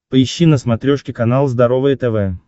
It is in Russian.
поищи на смотрешке канал здоровое тв